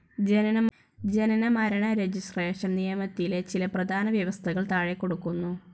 ജനന മരണ രജിസ്ട്രേഷൻ നിയമത്തിലെ ചില പ്രധാന വ്യവസ്ഥകൾ താഴെകൊടുക്കുന്നു.